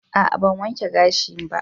A'a, ban wanke gashin ba